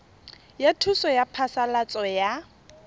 ya thuso ya phasalatso ya